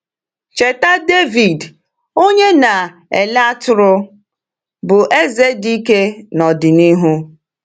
Cheta Dẹvid, onye na-ele atụrụ, bụ́ eze dị ike n’ọdịnihu.